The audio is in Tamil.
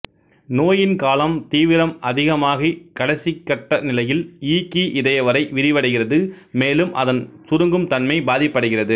நோயின் காலம் தீவிரம் அதிகமாகிக் கடைசிக்கட்ட நிலையில் இ கீ இதயவறை விரிவடைகிறது மேலும் அதன் சுருங்கும் தன்மை பாதிப்படைகிறது